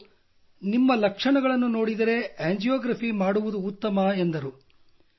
ಅವರು ನಿಮ್ಮ ಲಕ್ಷಣಗಳನ್ನು ನೋಡಿದರೆ ಆಂಜಿಯೊಗ್ರಾಫಿ ಮಾಡುವುದು ಉತ್ತಮ ಎಂದರು